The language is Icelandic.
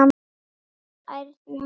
við ærna sút.